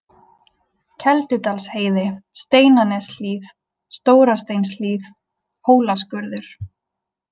Keldudalsheiði, Steinaneshlíð, Stórasteinshlíð, Hólaskurður